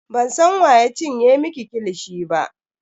Bansan wa ya cinye miki kilishi ba.